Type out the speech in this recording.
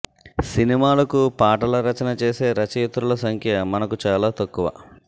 సినిమాలకు పాటల రచన చేసే రచయిత్రుల సంఖ్య మనకు చాలా తక్కువ